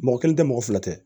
Mɔgɔ kelen tɛ mɔgɔ fila tɛ